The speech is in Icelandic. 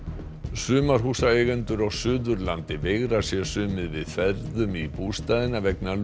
sumarhúsaeigendur á Suðurlandi veigra sér sumir við ferðum í bústaðina vegna